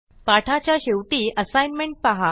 पाठाच्या शेवटी असाईनमेंट पहा